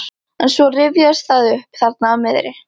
En svo rifjaðist það upp þarna á miðri